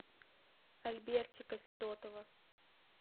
альбертика федотова